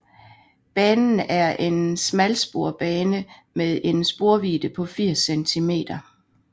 Banen er en smalsporsbane med en sporvidde på 80 cm